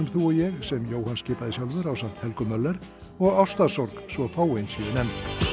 þú og ég sem Jóhann skipaði sjálfur ásamt Helgu Möller og ástarsorg svo fáein séu nefnd